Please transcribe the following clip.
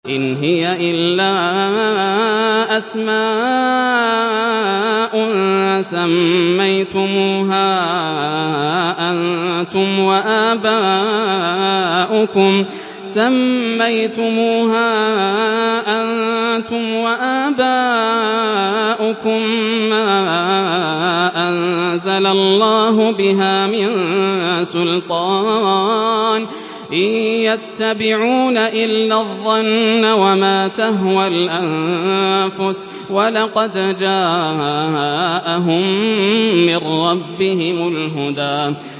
إِنْ هِيَ إِلَّا أَسْمَاءٌ سَمَّيْتُمُوهَا أَنتُمْ وَآبَاؤُكُم مَّا أَنزَلَ اللَّهُ بِهَا مِن سُلْطَانٍ ۚ إِن يَتَّبِعُونَ إِلَّا الظَّنَّ وَمَا تَهْوَى الْأَنفُسُ ۖ وَلَقَدْ جَاءَهُم مِّن رَّبِّهِمُ الْهُدَىٰ